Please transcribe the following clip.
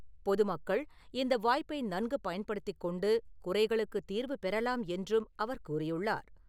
பொதுமக்கள் இந்த வாய்ப்பை நன்கு பயன்படுத்திக் கொண்டு குறைகளுக்கு தீர்வு பெறலாம் என்றும் அவர் கூறியுள்ளார்.